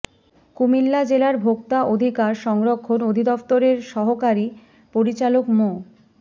কুমিল্লা জেলার ভোক্তা অধিকার সংরক্ষণ অধিদপ্তরের সহকারি পরিচালক মো